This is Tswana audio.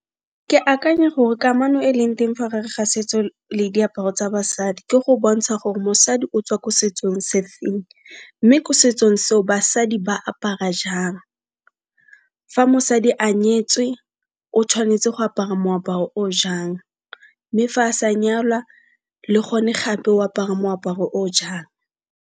Ke akanya gore kamano e leng teng fa gare ga setso le diaparo tsa basadi ke go bontsha gore mosadi o tswa ko setsong se feng, mme ko setsong seo basadi ba apara jang. Fa mosadi a nyetswe o tshwanetse go apara moaparo o jang, mme fa a sa nyalwa le go ne gape o apara moaparo o jang.